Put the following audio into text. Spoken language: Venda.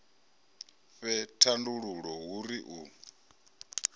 fhe thandululo hu ri u